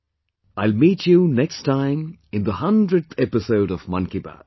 I will meet you next time in the hundredth episode of 'Mann Ki Baat'